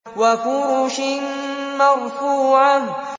وَفُرُشٍ مَّرْفُوعَةٍ